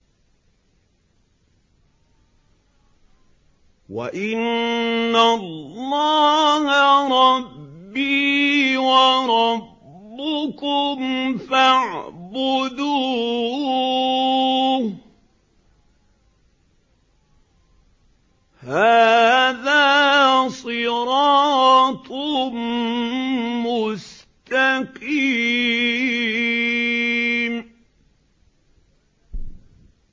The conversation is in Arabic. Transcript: وَإِنَّ اللَّهَ رَبِّي وَرَبُّكُمْ فَاعْبُدُوهُ ۚ هَٰذَا صِرَاطٌ مُّسْتَقِيمٌ